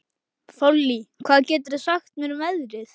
Þollý, hvað geturðu sagt mér um veðrið?